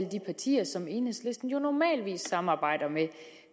de partier som enhedslisten jo normalvis samarbejder med